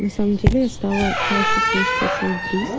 в самом деле я стала чаще слышать от своих близ